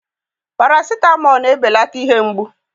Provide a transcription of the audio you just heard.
paracetamol na-ebelata ihe mgbu